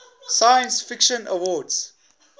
science fiction awards